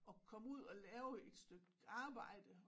At komme ud og lave et stykke arbejde